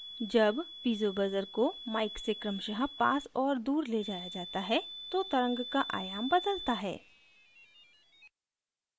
जब piezo buzzer को mic से क्रमशः पास और दूर ले जाया जाता है तो तरंग का आयाम बदलता है